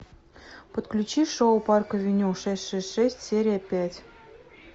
подключи шоу парк авеню шесть шесть шесть серия пять